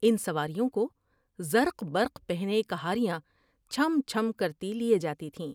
ان سواریوں کو زرق برق پہنے کہاریاں چھم چھم کرتی لیے جاتی تھیں ۔